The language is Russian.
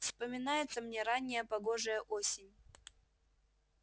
вспоминается мне ранняя погожая осень